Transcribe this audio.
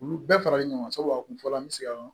Olu bɛɛ faralen ɲɔgɔn kan sabu a kun fɔra an bɛ se ka